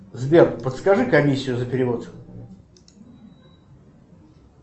сбер подскажи комиссию за перевод